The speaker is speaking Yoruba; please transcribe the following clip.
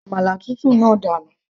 ju àmàlà tútù náà dànù